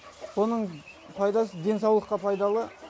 бұның пайдасы денсаулыққа пайдалы